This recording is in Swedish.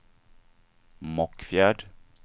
Mockfjärd